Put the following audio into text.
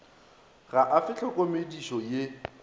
ga a fe tlhokomedipo ye